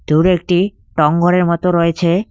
দূরে একটি টং ঘরের মতো রয়েছে।